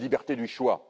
La liberté du choix.